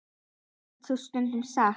Eflaust er það stundum satt.